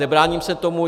Nebráním se tomu.